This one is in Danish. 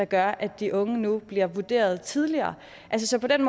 gør at de unge nu bliver vurderet tidligere så på den